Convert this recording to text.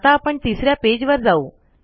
आता आपण तिसऱ्या पेज वर जाऊ